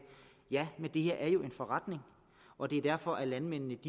ja men det her er jo en forretning og det er derfor at landmændene